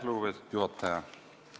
Lugupeetud juhataja!